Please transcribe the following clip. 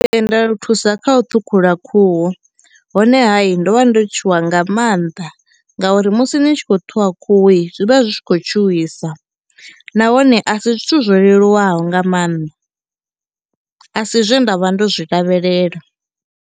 Thusa kha u ṱhukhula khuhu honeha hayi ndo vha ndo tshuwa nga mannḓa ngauri musi ni tshi khou ṱhuvha khuhui zwi vha zwi tshi khou tshuwisa nahone a si zwithu zwo leluwaho nga mannḓa, a si zwe nda vha ndo zwi lavhelela.